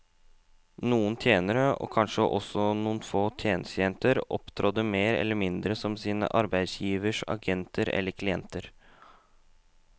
Noen tjenere, og kanskje også noen få tjenestejenter, opptrådte mer eller mindre som sine arbeidsgiveres agenter eller klienter.